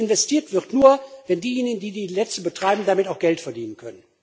Und investiert wird nur, wenn diejenigen, die die Netze betreiben, damit auch Geld verdienen können.